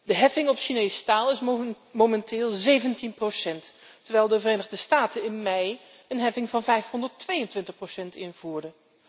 De heffing op Chinees staal is momenteel 17 procent, terwijl de Verenigde Staten in mei een heffing van 522 procent invoerde.